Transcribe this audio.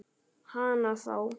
Hana þá.